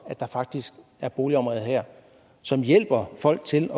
at der faktisk er boligområder som hjælper folk til